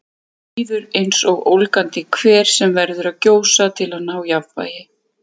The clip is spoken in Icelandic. Honum líður eins og ólgandi hver sem verður að gjósa til að ná jafnvægi.